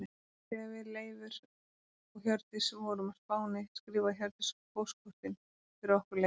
Þegar við Leifur og Hjördís vorum á Spáni skrifaði Hjördís á póstkortin fyrir okkur Leif.